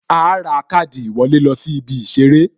A ra káàdì ìwọlé lọ sí ibi Ìṣeré